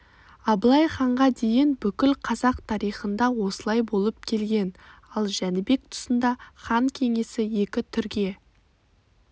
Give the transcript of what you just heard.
абылай ханға дейін бүкіл қазақ тарихында осылай болып келген ал жәнібек тұсында хан кеңесі екі түрге